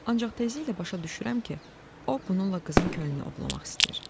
Ancaq tezliklə başa düşürəm ki, o bununla qızın könlünü ovlamaq istəyir.